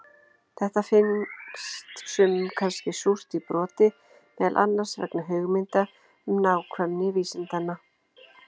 Þetta finns sumum kannski súrt í broti, meðal annars vegna hugmynda um nákvæmni vísindanna.